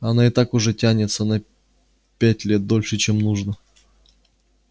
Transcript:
она и так уже тянется на пять лет дольше чем нужно